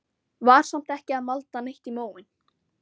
Var samt ekki að malda neitt í móinn.